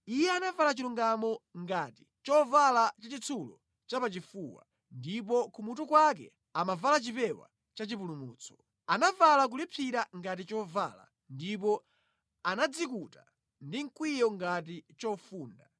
Iye anavala chilungamo ngati chovala chachitsulo chapachifuwa, ndipo kumutu kwake amavala chipewa chachipulumutso; anavala kulipsira ngati chovala ndipo anadzikuta ndi mkwiyo ngati chofunda.